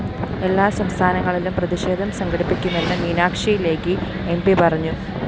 എല്ലാ സംസ്ഥാനങ്ങളിലും പ്രതിഷേധം സംഘടിപ്പിക്കുമെന്ന് മീനാക്ഷി ലേഖി എം പി പറഞ്ഞു